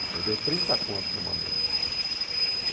Ele perdeu trinta conto numa noite. E